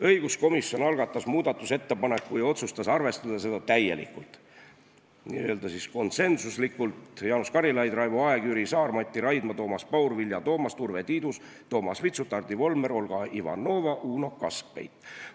Õiguskomisjon algatas muudatusettepaneku ja otsustas arvestada seda täielikult, konsensuslikult: Jaanus Karilaid, Raivo Aeg, Jüri Saar, Mati Raidma, Toomas Paur, Vilja Toomast, Urve Tiidus, Toomas Vitsut, Hardi Volmer, Olga Ivanova, Uno Kaskpeit.